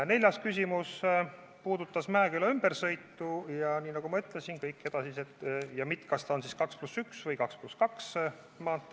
Neljas küsimus puudutas Mäeküla ümbersõitu: kas see tuleb 2 + 1 või 2 + 2 maantee?